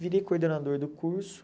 Virei coordenador do curso.